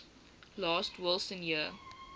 last wilson year